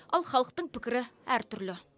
ал халықтың пікірі әр түрлі